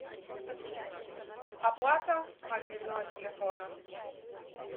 оплата мобильного телефона